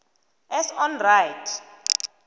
as on right